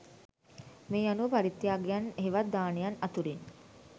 මේ අනුව පරිත්‍යාගයන් හෙවත් දානයන් අතුරින්